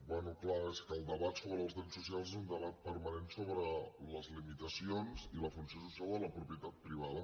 bé clar és que el debat sobre els drets socials és un debat permanent so·bre les limitacions i la funció social de la propietat pri·vada